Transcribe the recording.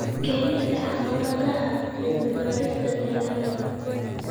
Keenista caqabadaha cilmi-baarista dalagga.